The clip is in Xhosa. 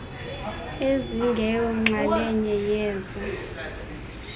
ezingeyo nxalenye yezo